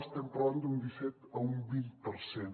estem parlant d’un disset a un vint per cent